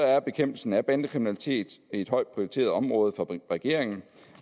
er bekæmpelsen af bandekriminalitet et højt prioriteret område for regeringen